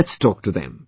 Let's talk to them